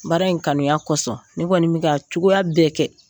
Baara in kanuya kosɔn n kɔni n mi ka cogoya bɛɛ kɛ.